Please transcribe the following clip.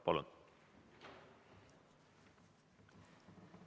Palun!